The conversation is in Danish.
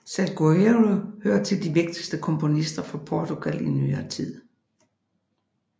Salgueiro hører til de vigtige komponister fra Portugal i nyere tid